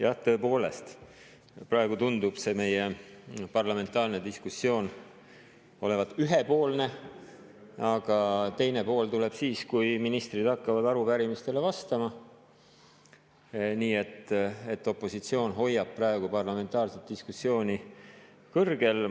Jah, tõepoolest, praegu tundub meie parlamentaarne diskussioon olevat ühepoolne, aga teine pool tuleb siis, kui ministrid hakkavad arupärimistele vastama, nii et opositsioon hoiab praegu parlamentaarset diskussiooni kõrgel.